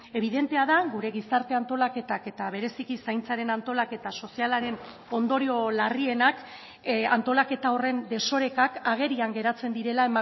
ebidentea da gure gizarte antolaketak eta bereziki zaintzaren antolaketa sozialaren ondorio larrienak antolaketa horren desorekak agerian geratzen direla